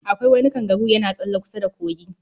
Akwai wani kangaru yana tsalle kusa da kogi